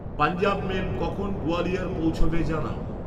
Punjab mail কখন গ্বালিয়র পৌঁছবে জানাও